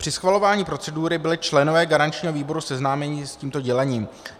Při schvalování procedury byli členové garančního výboru seznámeni s tímto dělením.